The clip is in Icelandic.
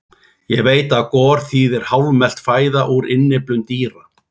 Ég veit að gor þýðir hálfmelt fæða úr innyflum dýra.